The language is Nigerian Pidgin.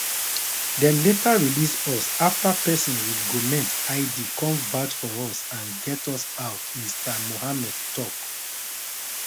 dem later release us afta pesin wit goment id came vouch for us and get us out mr mohamed tok